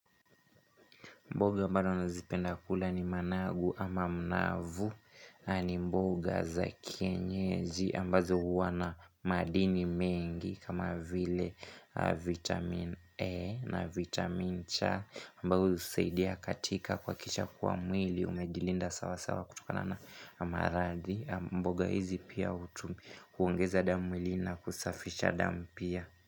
Mboga ambazo nazipenda kula ni managu ama mnavu na ni mboga za kienyezi ambazo huwa na madini mengi kama vile vitamin E na vitaminC ambzo husaidia katika kuhakisha kuwa mwili umejilinda sawa sawa kutokana na maradhi. Mboga hizi pia huongeza damu mwilini na kusafisha damu pia.